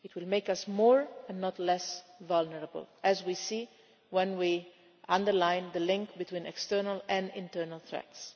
It would make us more, and not less, vulnerable, as we see when we underline the link between external and internal threats.